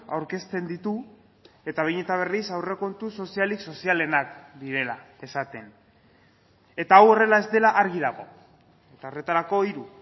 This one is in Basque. aurkezten ditu eta behin eta berriz aurrekontu sozialik sozialenak direla esaten eta hau horrela ez dela argi dago eta horretarako hiru